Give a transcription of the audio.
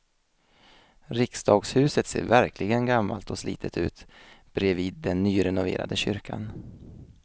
Riksdagshuset ser verkligen gammalt och slitet ut bredvid den nyrenoverade kyrkan.